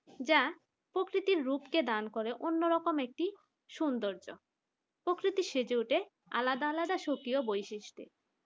যা খুব প্রকৃতির রূপ রূপকে দান করে অন্য রকম একটি সৌন্দর্য প্রকৃতির সেজে ওঠে আলাদা আলাদা সক্রিয় বৈশিষ্ট্য।